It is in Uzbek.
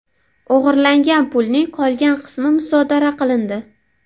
O‘g‘irlangan pulning qolgan qismi musodara qilindi.